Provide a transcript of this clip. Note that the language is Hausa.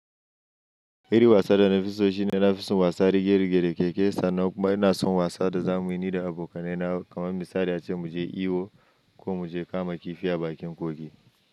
Iri wasa da na fi so shine na fi son wasa rige-rige da keke, sannan kuma ina son wasa da zamuyi ni da abokanai na kamar misali ace muje iyo ko mu je kama kifi a bakin kogi.